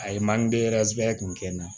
A ye kun kɛ n na